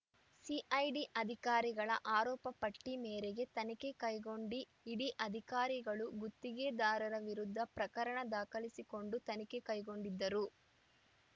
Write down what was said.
CID ಅಧಿಕಾರಿಗಳ ಆರೋಪಪಟ್ಟಿಮೇರೆಗೆ ತನಿಖೆ ಕೈಗೊಂಡಿ ಇಡಿ ಅಧಿಕಾರಿಗಳು ಗುತ್ತಿಗೆದಾರರ ವಿರುದ್ಧ ಪ್ರಕರಣ ದಾಖಲಿಸಿಕೊಂಡು ತನಿಖೆ ಕೈಗೊಂಡಿದ್ದರು